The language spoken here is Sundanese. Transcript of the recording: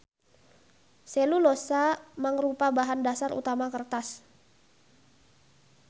Selulosa mangrupa bahan dasar utama kertas.